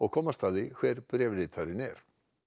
komast að því hver bréfritarinn er